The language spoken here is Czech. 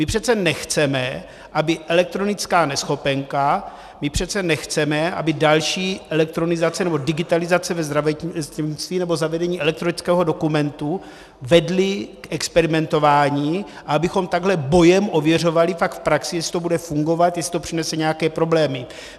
My přece nechceme, aby elektronická neschopenka, my přece nechceme, aby další elektronizace, nebo digitalizace ve zdravotnictví, nebo zavedení elektronického dokumentu vedly k experimentování a abychom takhle bojem ověřovali pak v praxi, jestli to bude fungovat, jestli to přinese nějaké problémy.